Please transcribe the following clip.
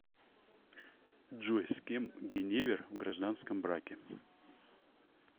джой с кем гиневер в гражданском браке